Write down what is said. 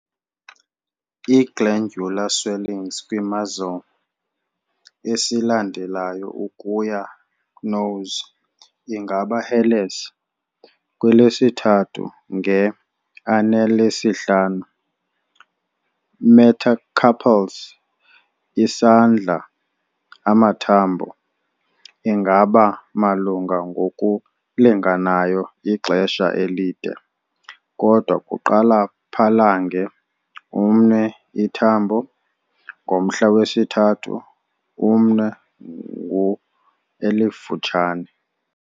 I-glandular swellings kwi-muzzle, esilandelayo ukuya nose, ingaba hairless. Kwelesithathu nge-anelesihlanu metacarpals, isandla amathambo, ingaba malunga ngokulinganayo ixesha elide, kodwa kuqala phalange, umnwe ithambo, ngomhla wesithathu umnwe ngu-elifutshane.